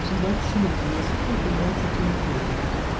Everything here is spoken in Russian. с большим интересом наблюдается геймплеем